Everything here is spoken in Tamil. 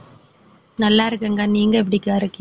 நல்லா இருக்கேங்கா நீங்க எப்படிக்கா இருக்கீங்க